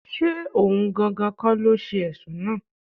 Ṣé ohun gangan kọ́ ló ṣe Ẹ̀sùn náà?